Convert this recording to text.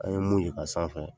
An ye mun ye ka sanfɛ